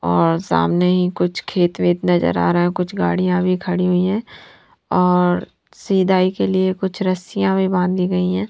और सामने ही कुछ खेत वेट नज़र आ रहा है और कुछ गाड़िया भी खड़ी हुई है और सीधाइ के लिए कुछ रसिया भी बंधी गयी है।